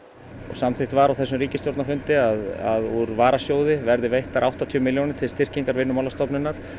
samþykkt var á þessu ríkisstjórnarfundi að úr varasjóði verði veittar áttatíu milljónir til styrkingar Vinnumálastofnunar